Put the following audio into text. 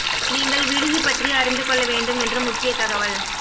நீங்கள் விடுதி பற்றி அறிந்து கொள்ள வேண்டும் என்று முக்கிய தகவல்